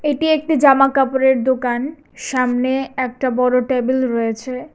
এটি একটি জামাকাপড়ের দোকান সামনে একটা বড় টেবিল রয়েছে।